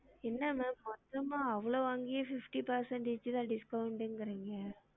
என்ன ma'am மொத்தம்மா அவ்ளோ வாங்கியே fifty percentage தான் discount கிரிங்க